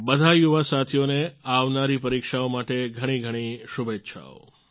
બધા યુવા સાથીઓને આવનારી પરીક્ષાઓ માટે ઘણીઘણી શુભેચ્છાઓ